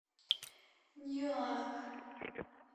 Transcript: ньюарк